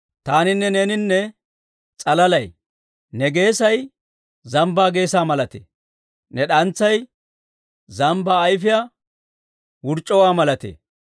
Ne geesay zambbaa geesaa malatee. Ne d'antsay zambbaa ayifiyaa wurc'c'uwaa malatee.